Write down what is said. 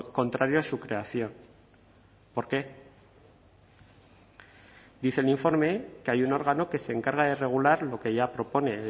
contrario a su creación por qué dice el informe que hay un órgano que se encarga de regular lo que ya propone